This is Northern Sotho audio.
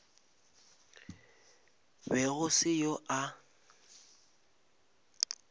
be go se yo a